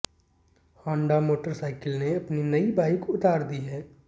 Honda motorcycle ने अपनी नई बाइक उतार दी है